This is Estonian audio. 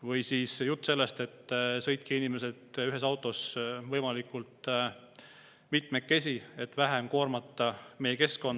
Või siis jutt sellest, et sõitke, inimesed, ühes autos võimalikult mitmekesi, et vähem koormata meie keskkonda.